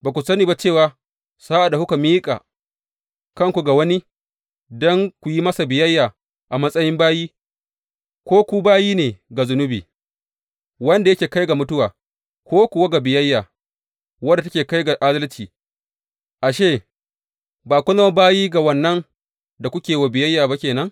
Ba ku sani ba cewa sa’ad da kuka miƙa kanku ga wani don ku yi masa biyayya a matsayin bayi, ko ku bayi ne ga zunubi, wanda yake kai ga mutuwa, ko kuwa ga biyayya, wadda take kai ga adalci, ashe, ba kun zama bayi ga wannan da kuke yi wa biyayya ba ke nan?